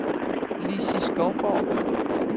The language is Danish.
Lissi Skovgaard